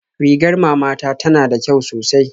Rigar mama ta tana da kyau sosai